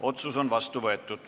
Otsus on vastu võetud.